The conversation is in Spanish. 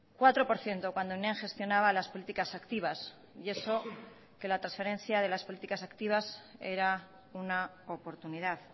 cuatro por ciento cuando gestionaba las políticas activas y eso que la transferencia de las políticas activas era una oportunidad